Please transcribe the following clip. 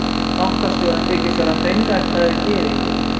Bankastjórinn þykist vera hreinræktaður gyðingur.